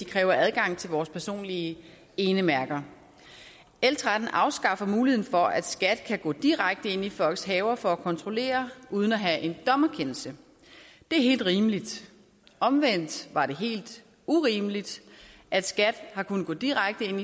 kræver adgang til vores personlige enemærker l tretten afskaffer muligheden for at skat kan gå direkte ind i folks haver for at kontrollere uden at have en dommerkendelse det er helt rimeligt omvendt har det været helt urimeligt at skat har kunnet gå direkte ind